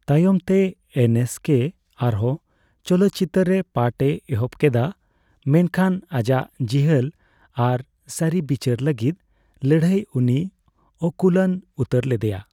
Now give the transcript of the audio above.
ᱛᱟᱭᱚᱢᱛᱮ, ᱮᱱᱮᱥᱠᱮ ᱟᱨᱦᱚᱸ ᱪᱚᱞᱚᱛᱪᱤᱛᱟᱹᱨ ᱨᱮ ᱯᱟᱴᱷ ᱮ ᱮᱦᱚᱵ ᱠᱮᱫᱼᱟ, ᱢᱮᱱᱠᱷᱟᱱᱸᱟᱡᱟᱜ ᱡᱤᱦᱟᱹᱞ ᱟᱨ ᱥᱟᱨᱤᱵᱤᱪᱟᱹᱨ ᱞᱟᱹᱜᱤᱫ ᱞᱟᱹᱲᱦᱟᱹᱭ ᱩᱱᱤᱭ ᱚᱠᱩᱞᱟᱱ ᱩᱛᱟᱹᱨ ᱞᱮᱫᱮᱭᱟ ᱾